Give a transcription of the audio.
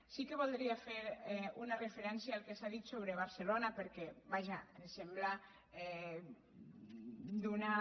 sí que voldria fer una referència al que s’ha dit sobre barcelona perquè vaja em sembla d’una